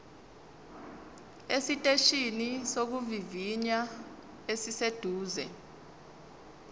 esiteshini sokuvivinya esiseduze